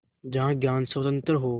जहाँ ज्ञान स्वतन्त्र हो